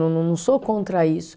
Não, não sou contra isso.